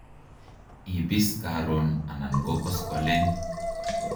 Ibis Karon anan ko koskolen